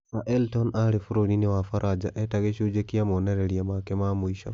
Sir Elton aarĩ bũrũri-inĩ wa Faranja eta gĩcunjĩ kĩa monereria make ma mũico.